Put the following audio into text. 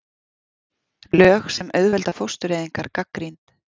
Lög sem auðvelda fóstureyðingar gagnrýnd